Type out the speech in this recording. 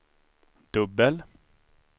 dubbel